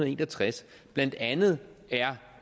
en og tres blandt andet